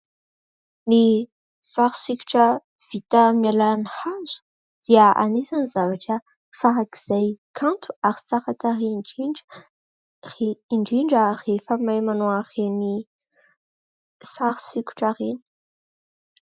Ny sary sikotra vita amin'ny alalan'ny hazo dia anisan'ny zavatra farak'izay kanto ary tsara tarehy indrindra. Indrindra rehefa mahay manao ireny sary sikotra ireny.